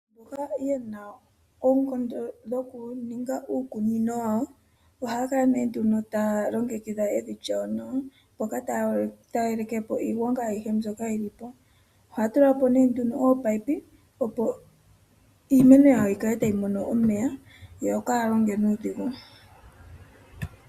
Mboka ye na oonkondo dhokuninga uukunino wawo ohaya kala taya longekidha evi lyawo nawa, mpoka taya yeleke po iigwanga mbyoka yili po. Oha tula po oominino opo iimeno yayo yikale tayi mono omeya yo kaaya longe nuudhigu.